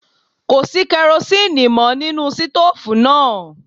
Kò sí kerosíínì mọ́ nínú sítòòfù náà.